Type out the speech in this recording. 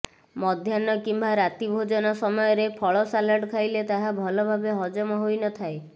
ମଧ୍ୟାହ୍ନ କିମ୍ବା ରାତି ଭୋଜନ ସମୟରେ ଫଳ ସାଲାଡ଼ ଖାଇଲେ ତାହା ଭଲ ଭାବେ ହଜମ ହୋଇନଥାଏ